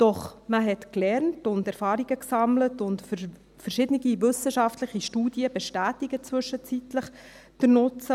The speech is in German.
Doch man hat gelernt und Erfahrungen gesammelt, und verschiedene wissenschaftliche Studien bestätigen zwischenzeitlich den Nutzen.